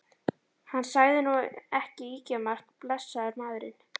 Hann sagði nú ekki ýkjamargt, blessaður maðurinn.